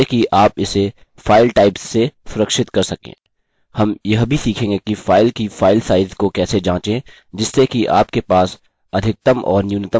हम यह भी सीखेंगे कि फाइल की फाइल साइज़ को कैसे जाँचें जिससे कि आप के पास अधिकतम और न्यूनतम फाइल साइज़ हो